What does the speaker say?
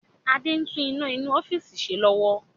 Adé ń tún iná inú ọ́fíìsì ṣe lọ́wọ́